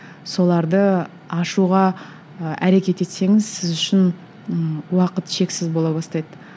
соларды ашуға ы әрекет етсеңіз сіз үшін ііі уақыт шексіз бола бастайды